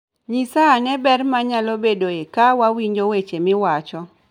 Nyisa ane ber manyalo bedoe ka wawinjo weche miwacho